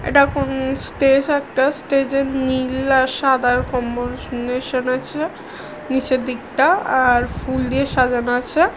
এটা কোন স্টেজ একটা স্টেজে নীল আর সাদা আছে নিচের দিকটা-আ আর ফুল দিয়ে সাজানো আছে।